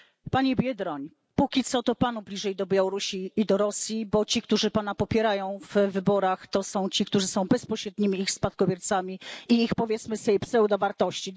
Panie Biedroń! Póki co, to Panu bliżej do Białorusi i do Rosji, bo ci, którzy Pana popierają w wyborach, to są ci, którzy są bezpośrednimi ich spadkobiercami i ich, powiedzmy sobie, pseudowartości.